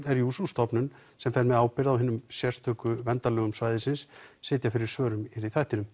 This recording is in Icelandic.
er jú sú stofnun sem fer með ábyrgð á hinum sérstöku verndarlögum svæðisins sitja fyrir svörum hér í þættinum